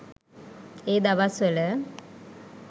ඒ දවස්වල.